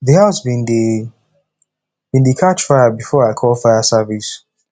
d house bin dey bin dey catch fire before i call fire service